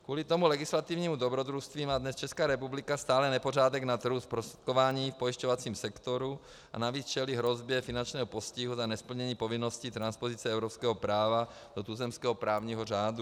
Kvůli tomu legislativnímu dobrodružství má dnes Česká republika stále nepořádek na trhu zprostředkování v pojišťovacím sektoru a navíc čelí hrozbě finančního postihu za nesplnění povinnosti transpozice evropského práva do tuzemského právního řádu.